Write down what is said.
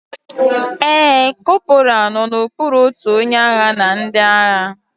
Ee, corporal nọ n'okpuru otu onye agha na ndị agha